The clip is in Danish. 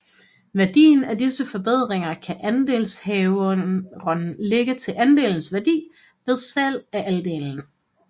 Værdien af disse forbedringer kan andelshaveren lægge til andelens værdi ved salg af andelen